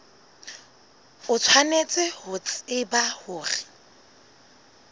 o tshwanetse ho tseba hore